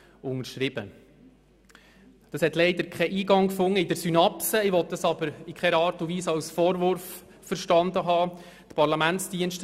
Leider wurde das nicht in die Synopsis aufgenommen, was ich aber in keiner Art und Weise als Vorwurf verstanden haben will.